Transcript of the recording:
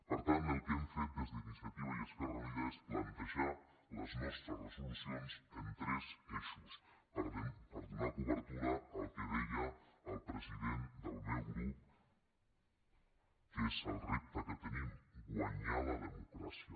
per tant el que hem fet des d’iniciativa i esquerra unida és plantejar les nostres resolucions en tres ei·xos per donar cobertura al que deia el president del meu grup que és el repte que tenim guanyar la demo·cràcia